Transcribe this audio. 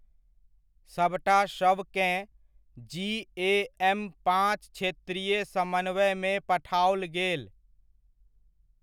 सभटा शवकेँ जीएएम पाँच क्षेत्रीय समन्वयमे पठाओल गेल।